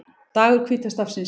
Dagur hvíta stafsins